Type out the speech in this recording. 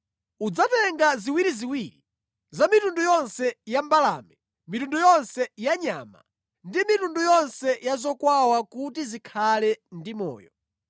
Udzatenga ziwiriziwiri za mitundu yonse ya mbalame, mitundu yonse ya nyama, ndi mitundu yonse ya zokwawa kuti zikhale ndi moyo.